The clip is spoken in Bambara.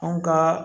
An ka